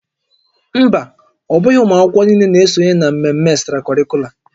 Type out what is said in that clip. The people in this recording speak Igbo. Mba, ọ bụghị ụmụ akwụkwọ niile na-esonye na mmemme extracurricular